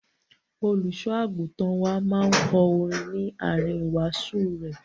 Olùṣọ́-àgùntàn wá máa ń kọ orin ní àárín ìwàásù rẹ̀.